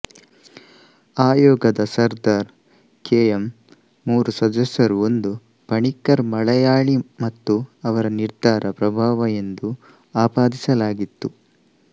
ಆಯೋಗದ Sardar K M ಮೂರು ಸದಸ್ಯರು ಒಂದು ಪಣಿಕ್ಕರ್ ಮಲಯಾಳಿ ಮತ್ತು ಅವರು ನಿರ್ಧಾರ ಪ್ರಭಾವ ಎಂದು ಆಪಾದಿಸಲಾಗಿತ್ತು